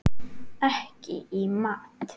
Ekki í mat.